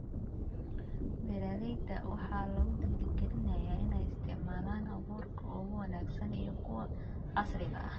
Beeralayda waxaa lagu dhiirigelinayaa inay isticmaalaan abuurka ugu wanaagsan iyo kuwa casriga ah.